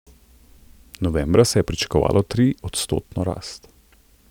Novembra se je pričakovalo triodstotno rast.